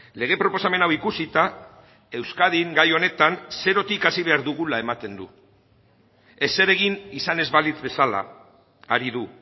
lege proposamen hau ikusita euskadin gai honetan zerotik hasi behar dugula ematen du ezer egin izan ez balitz bezala ari du